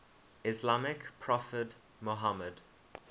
islamic prophet muhammad